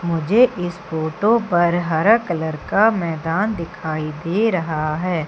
मुझे इस फोटो पर हरा कलर का मैदान दिखाई दे रहा है।